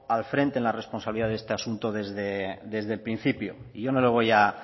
al frente en la responsabilidad de este asunto desde el principio y yo no le voy a